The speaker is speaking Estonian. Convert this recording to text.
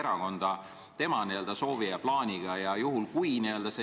Tallinna linnapea kuulub teadupärast Keskerakonda.